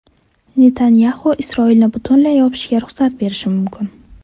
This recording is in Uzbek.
Netanyaxu Isroilni butunlay yopishga ruxsat berishi mumkin.